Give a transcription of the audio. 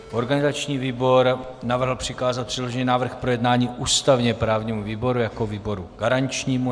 Organizační výbor navrhl přikázat předložený návrh k projednání ústavně-právnímu výboru jako výboru garančnímu.